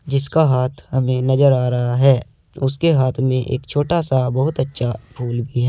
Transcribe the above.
जिसका हाथ हमें नजर आ रहा है उसके हाथ में एक छोटा सा बहुत अच्छा फूल भी है।